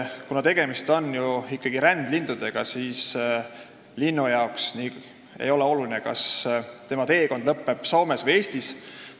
Tegemist on ju ikkagi rändlindudega ja linnule ei ole oluline, kas tema teekond lõpeb Soomes või Eestis.